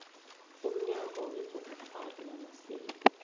umnyango wezobukghwari namasiko